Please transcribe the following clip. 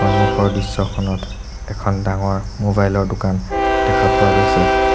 সন্মুখৰ দৃশ্যখনত এখন ডাঙৰ মোবাইল ৰ দোকান দেখা পোৱা গৈছে।